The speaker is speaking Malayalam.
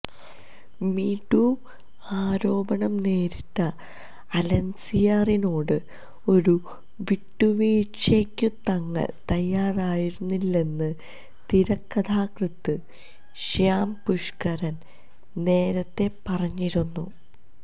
മീ ടു ആരോപണം നേരിട്ട അലൻസിയറിനോട് ഒരു വിട്ടുവീഴ്ചയ്ക്കും തങ്ങൾ തയ്യാറായിരുന്നില്ലെന്ന് തിരക്കഥാകൃത്ത് ശ്യാം പുഷ്ക്കരൻ നേരത്തെ പറഞ്ഞിരുന്നു